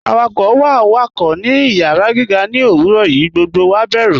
Awakọ̀ wá n wákọ̀ ní ìyàrá gígà ní owurọ̀ yìí, gbogbo wá bẹ̀rù.